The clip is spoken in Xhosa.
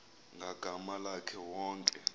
ngagama lakhe wonke